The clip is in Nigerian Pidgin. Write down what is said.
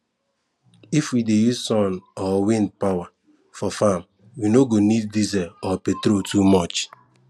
if we dey use sun or wind power for farm we no go need diesel or petrol too much